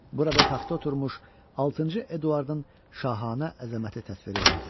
Burada taxta oturmuş altıncı Eduardın şahanə əzəməti təsviri vardı.